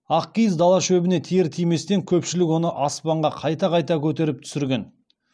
ақ киіз дала шөбіне тиер тиместе көпшілік оны аспанға қайта қайта көтеріп түсірген